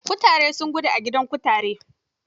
Kutaren sun gudo da ga gidaan kutaren.